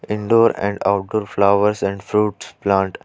Indoor and outdoor flowers and fruits plant.